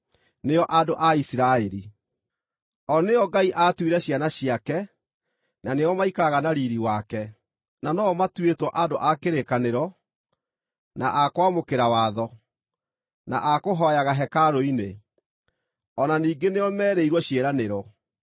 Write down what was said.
nĩo andũ a Isiraeli. O nĩo Ngai aatuire ciana ciake; na nĩo maikaraga na riiri wake, na no-o matuĩtwo andũ a kĩrĩkanĩro, na a kwamũkĩra watho, na a kũhooyaga hekarũ-inĩ, o na ningĩ nĩo merĩirwo ciĩranĩro.